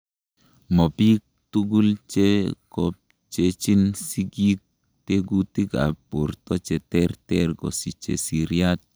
Mobik tugul chekopchechin sikik tekutikab borto cheterter kosiche seriat.